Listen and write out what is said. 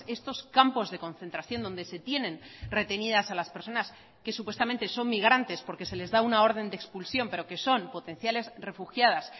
estos campos de concentración donde se tienen retenidas a las personas que supuestamente son migrantes porque se les da una orden de expulsión pero que son potenciales refugiadas